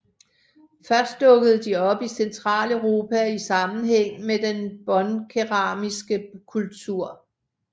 Først dukkede de op i Centraleuropa i sammenhæng med den båndkeramiske kultur